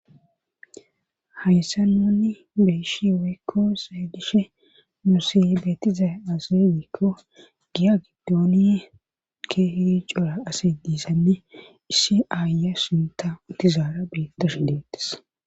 Hayssa nunni beyishi woykko seydishe nusibeetiza azedikko giya giddooni keeh cora ase diisanne issi aaya sinta utizaara beettashi deettes.